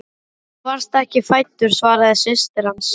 Þú varst ekki fæddur svaraði systir hans.